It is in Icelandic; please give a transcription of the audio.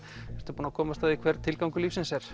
ertu búin að komast að því hver tilgangur lífsins er